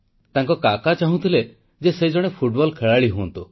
ତାଙ୍କ ଦାଦା କାକା ଚାହୁଁଥିଲେ ଯେ ସେ ଜଣେ ଫୁଟବଲ ଖେଳାଳି ହୁଅନ୍ତୁ